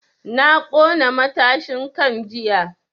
Na ƙona matashin kan jiya